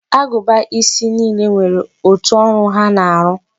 Agụba isi niile nwere otu ọrụ ha na-arụ.